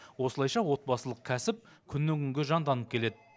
осылайша отбасылық кәсіп күннен күнге жанданып келеді